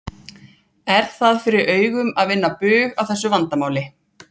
Er það fyrir augum að vinna bug á þessu vandamáli?